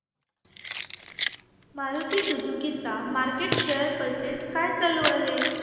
Maruti Suzuki चा market share percentage काय चालू आहे